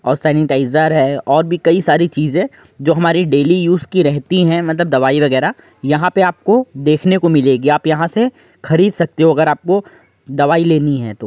और सैनिटाइजर है और बी कई सारी चीजे जो हमारी डेली यूज़ की रहती हैं मतब दवाई वगैरा यहां पे आपको देखने को मिलेगी। आप यहां से खरीद सकते हो अगर आपको दवाई लेनी है तो।